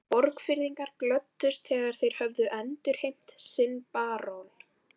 Borgfirðingar glöddust þegar þeir höfðu endurheimt sinn barón.